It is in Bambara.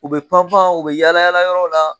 U bɛ pan pan u bɛ yaalayaala yɔrɔw la